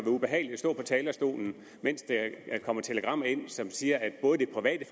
ubehageligt at stå på talerstolen mens der kommer telegrammer ind som siger at både det private